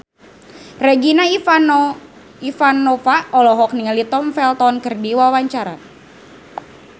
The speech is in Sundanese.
Regina Ivanova olohok ningali Tom Felton keur diwawancara